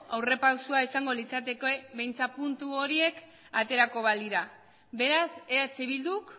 aurrera pausua izango litzateke behintzat puntu horiek aterako balira beraz eh bilduk